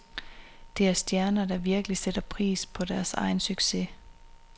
Det er stjerner, der virkelig sætter pris på deres egen succes.